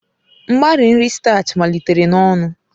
Mgbari nri statchị malitere n'ọnụ.